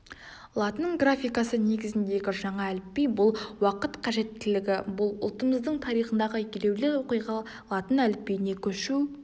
латын графикасы негізіндегі жаңа әліпби бұл уақыт қажеттілігі бұл ұлтымыздың тарихындағы елеулі оқиға латын әліпбиіне көшу